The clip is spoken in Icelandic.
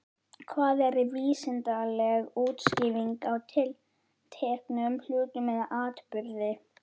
Hvað er vísindaleg útskýring á tilteknum hlut eða atburði?